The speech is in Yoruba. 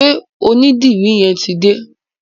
Ṣé onídìrí yẹn ti dé?